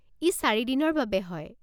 ই চাৰি দিনৰ বাবে হয়।